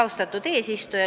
Austatud eesistuja!